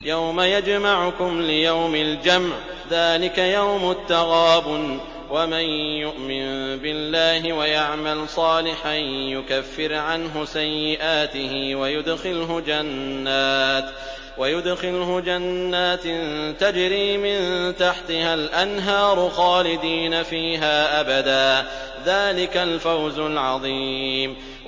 يَوْمَ يَجْمَعُكُمْ لِيَوْمِ الْجَمْعِ ۖ ذَٰلِكَ يَوْمُ التَّغَابُنِ ۗ وَمَن يُؤْمِن بِاللَّهِ وَيَعْمَلْ صَالِحًا يُكَفِّرْ عَنْهُ سَيِّئَاتِهِ وَيُدْخِلْهُ جَنَّاتٍ تَجْرِي مِن تَحْتِهَا الْأَنْهَارُ خَالِدِينَ فِيهَا أَبَدًا ۚ ذَٰلِكَ الْفَوْزُ الْعَظِيمُ